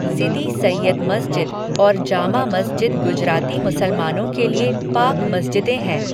सिदी सैय्यद मस्जिद और जामा मस्जिद गुजराती मुसलमानों के लिए पाक मस्जिदें हैं।